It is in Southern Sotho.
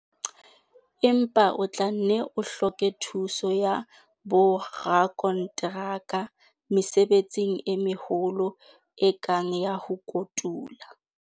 Empa o tla nne o hloke thuso ya borakonteraka mesebetsing e meholo e kang ya ho kotula.